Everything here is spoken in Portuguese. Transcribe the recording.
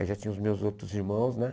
Aí já tinha os meus outros irmãos, né?